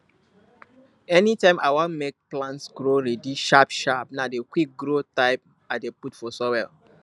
anytime i wan make plant grow ready sharpsharp na the quickgrow type i dey put for soil